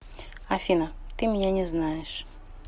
афина ты меня не знаешь